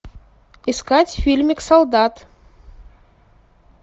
искать фильмик солдат